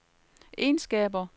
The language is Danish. egenskaber